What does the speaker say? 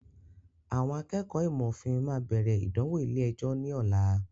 Àwọn akẹ́kọ̀ọ́ ìmọ̀ òfin máa bẹ̀rẹ̀ ìdánwò ilé ẹjọ́ ní ọ̀la.